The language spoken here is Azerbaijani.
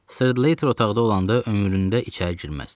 Slayter otaqda olanda ömründə içəri girməzdi.